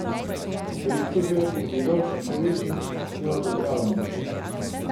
Rektor ga je pogledal s še večjim neodobravanjem.